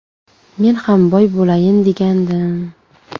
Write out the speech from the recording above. Men ham boy bo‘layin degandim”.